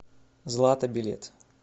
злата билет